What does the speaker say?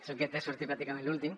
és el que té sortir pràcticament l’últim